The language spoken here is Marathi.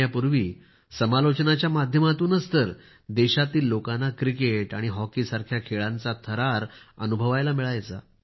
येण्यापूर्वी समालोचनाच्या माध्यमातूनच देशातील लोकांना क्रिकेट आणि हॉकीसारख्या खेळाचा थरार अनुभवायला मिळायचा